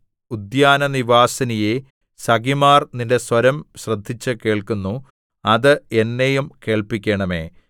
ഉദ്യാനനിവാസിനിയേ സഖിമാർ നിന്റെ സ്വരം ശ്രദ്ധിച്ച് കേൾക്കുന്നു അത് എന്നെയും കേൾപ്പിക്കണമേ